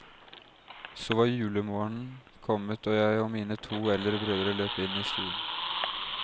Så var julemorgenen kommet og jeg og mine to eldre brødre løp inn i stuen.